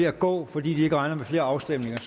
at gå fordi de ikke regner med flere afstemninger